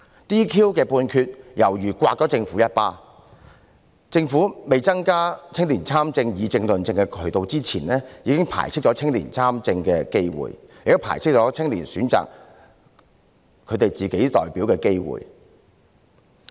"DQ" 的判決猶如掌摑了政府一巴，政府在未增加青年參政、議政和論政的渠道之前，已經排斥了青年參政的機會，亦排斥了青年選擇自己的代表的機會。